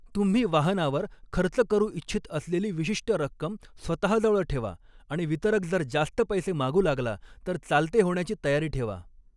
तुम्ही वाहनावर खर्च करू इच्छित असलेली विशिष्ट रक्कम स्वतःजवळ ठेवा, आणि वितरक जर जास्त पैसे मागू लागला तर चालते होण्याची तयारी ठेवा.